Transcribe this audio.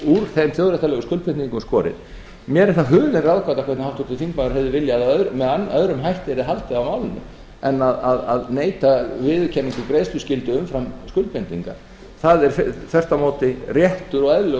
úr þeim þjóðréttarlegu skuldbindingum skorið mér er það hulin ráðgáta hvernig háttvirtur þingmaður hefði viljað að með öðrum hætti yrði haldið á málinu en að neita viðurkenningu um greiðsluskyldu umfram skuldbindingar það er þvert á móti réttur og eðlilegur